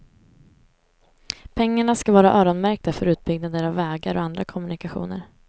Pengarna ska vara öronmärkta för utbyggnader av vägar och andra kommunikationer.